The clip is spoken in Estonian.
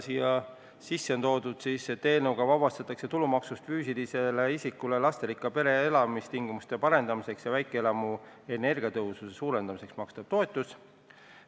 Siia sisse on toodud see, et eelnõuga vabastatakse tulumaksust füüsilisele isikule lasterikka pere elamistingimuste parendamiseks ja väikeelamu energiatõhususe suurendamiseks makstav toetus.